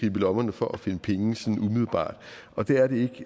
i lommerne for at finde penge sådan umiddelbart og det er det